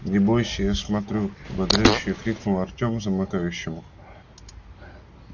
не бойся я смотрю ободряюще крикнул артем замыкающему